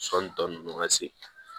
Sɔni tɔ ninnu ka se